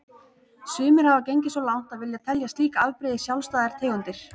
Sumir hafa gengið svo langt að vilja telja slík afbrigði sjálfstæðar tegundir.